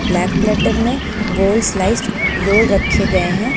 Black platter में गोल slice roll रखे गए हैं।